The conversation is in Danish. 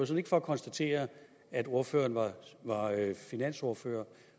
set ikke for at konstatere at ordføreren var finansordfører